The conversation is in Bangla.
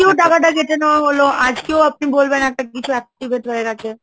আজকেও টাকা টা কেটে নেওয়া হল, আজকেও আপনি বলবেন একটা কিছু activate হয়ে গেছে।